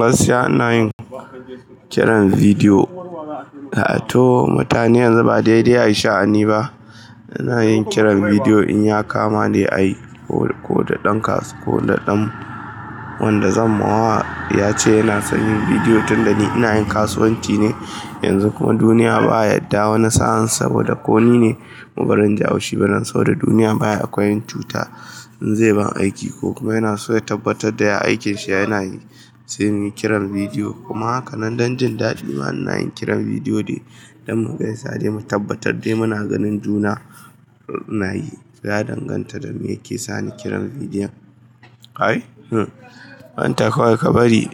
Gaskiya ina yin kiran bidiyo. To mutane yanzu ba saidai a yi sha'ani ba. Ina yin kiran bidiyo idan ya kama ne ayi koda dan kasu, koda dan wanda zan mawa yace yana son yin bidiyo tunda ni ina yin kasuwanci ne. Yanzu kuma duniya ba yadda wani sa'in saboda ko ni ne, bazan ji haushi ba dan saboda duniya baya akwai yin cuta in zai ba ni aiki ko kuma yana so ya tabbatar da ya aikinsa yana yi, sai muyi kiran bidiyo. Kuma haka nan don jin daɗi ma ana yin kiran bidiyo ne don mu gaisa dai mu tabbatar dai muna ganin juna. Nayi, ya danganta da me yake sani kiran bidiyon. Kai, hmm manta kawai ka bari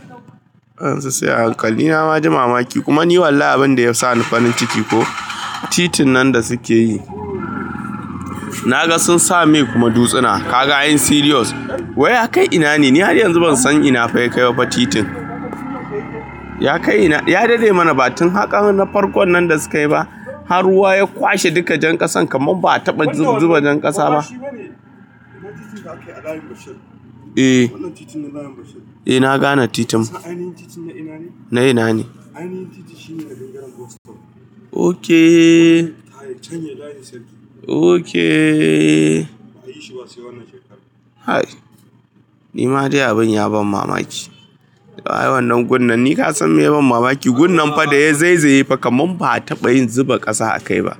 wayansu se a hankali ni nama ji mamaki kuma ni wallahi abinda ya sani farin ciki ko titin nan da suke yi. Naga sun sa mai kuma dutsina Ka ga yin serious? Wai ya kai ina ne? Ni har yanzu ban san ina fa ya kai ba titin. Ya kai ina? Ya dade mana ba tun haka na farkon nan da sukayi ba, har ruwa ya kwashe duka jan ƙasan kamar ba'a taɓa zuba jan ƙasa ba. Wannan titin da aka yi a ɗakin bishof. Eh. Wannan titin na ɗakin bishof. Eh na gane titin. Kasan ainihin titin na ina ne? Na ina ne? Ainihin titi shi ne na dinga yanka wasu. Ok. Ta yaya can ya yi ɗakin bishof. Ok. Ba'a yi shi ba sai wannan shekarar. Hai! Ni ma dai abin ya ban mamaki. Wa yayi wannan gun nan? Ni ka san me ya ban mamaki, gun nan fa da ya zai zai yi fa kamar ba'a taɓa yin zuba ƙasa a kai ba.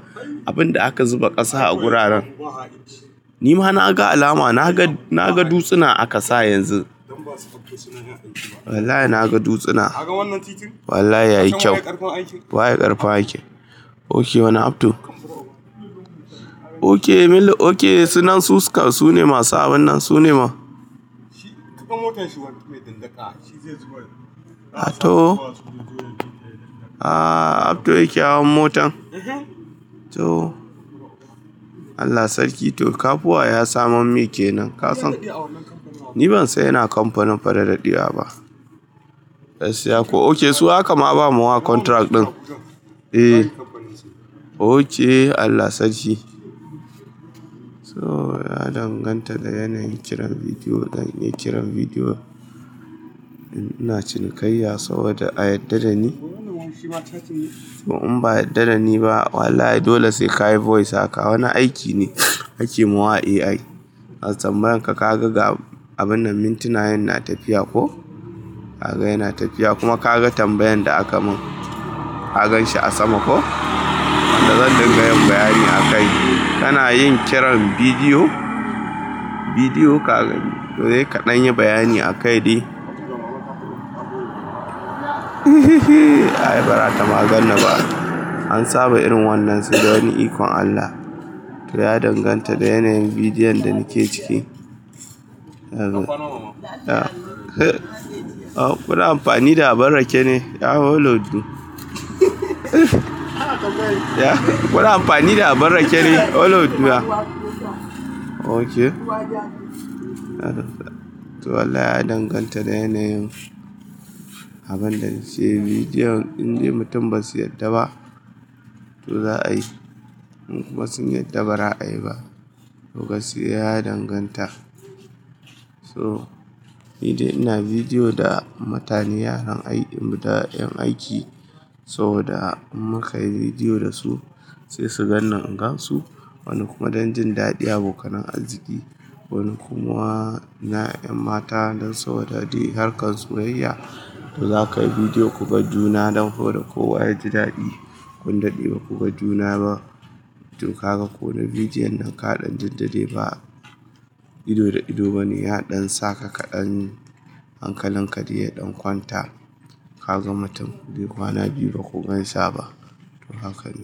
Abin da aka zuba ƙasa a guraran. Ni ma na ga alama, na ga, na ga dutsina aka sa yanzu. Don ba su ɗauke tsunan Wallahi na ga dutsina. Ka ga wannan titin? Wallahi ya yi kyau. Waye ƙarfin aiki. Waye ƙarfin aiki. Ok wannan Abdu? Ok mili, ok su nan su suka, su ne masu abun nan, su ne ma? Tuƙa motar shi wani mai ɗinɗaki a shi zai zo yayi. A to? Aaa Abdu yake hawan motan? Eh to. Allah sarki to, kafuwa ya samo me kenan. Ka san- Ni ban haɗu da awon wannan kamfanin ba. Ni ban san yana kamfanin faɗaɗaɗɗiya ba. Gaskiya ko, ok su aka ma ba ma wa contract ɗin. Eh. Ok Allah sarki. So ya danganta da yanayin kiran bidiyo. Dan in yi kiran bidiyo, ina cinikayya saboda a yadda da ni. Ko wannan wanki ba ta ciniki. Ko in ba a yadda da ni ba, wallahi dole sai ka yi voice aka. Wani aiki ne ake yi ma wa AI. A tambayaranka ka ga ga abun nan mintuna yan na tafiya ko? Ka ga yana tafiyai kuma ka ga tambayar da aka mun, ka gan shi a sama ko? Dan zan dinga yin bayani a kai. Kana yin kiran bidiyo, bidiyo ka gani, to sai ka ɗan yi bayani a kai dai. Ai barata ma ganniba. An saba irin wannan sai dai wani ikon Allah. Ya danganta da yanayin bidiyon da nake ciki. Ka faro. Eh. O kuna amfani da abar rake ne. Ya hau lodin. Kuna amfani da abar rake ne, ya hau lodu a. Ok. To wallahi ya danganta da yanayin abun da nake yi. Bidiyon idan mutum ba su yadda ba, to za a yi. In kuma sun yadda ba za a yi ba. To gaskiya ya danganta. So ni dai ina bidiyo da mutane, yaran ayi da ƴan aiki saboda in muka yi bidiyo da su, sai su ganni in gansu. Wani kuma don jin daɗi abokan arziki. Wani kuma na ƴan mata don saboda dai harkar soyayya. To za ka yi bidiyo ku ga juna don ko da kowa ya ji daɗi. Kun daɗe ba ku ga juna ba, to ka ga ko da bidiyon nan ka ɗan jin daɗai ba. Ido da ido bane yadan sa ka ka dan hankalinka dai ya dan kwanta kaga mutum kwana biyu baku gaisa ba to haka ne.